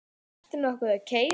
Ertu nokkuð að keyra?